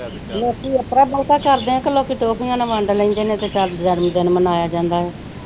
ਲੋਕੀ ਇਸਤਰਾਂ ਬਹੁਤਾ ਕਰਦੇ ਨੇ ਕੇ ਲੋਕੀ ਟੌਫੀਆਂ ਨਾ ਵੰਡ ਲੈਂਦੇ ਨੇ ਤੇ ਚਲ ਜਨਮ ਦਿਨ ਮਨਾਇਆ ਜਾਂਦਾ ਏ।